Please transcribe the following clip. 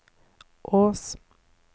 Ås